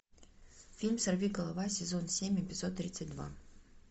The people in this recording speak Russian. фильм сорвиголова сезон семь эпизод тридцать два